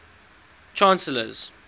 chancellors